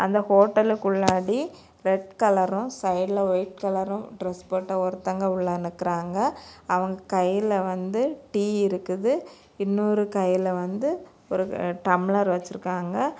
அந்த ஹோட்டலுக்குள்ளாடி ரெட் கலரும் சைடுல வைட் கலரும் டிரஸ் போட்ட ஒருத்தங்க உள்ள நிக்குறாங்க அவங்க கைல வந்து டீ இருக்குது இன்னொரு கையில வந்து ஒரு டம்ளர் வச்சிருக்காங்க.